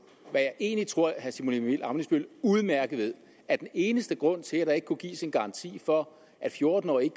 jeg egentlig tror herre simon emil ammitzbøll udmærket ved at den eneste grund til at der ikke kunne gives en garanti for at fjorten årige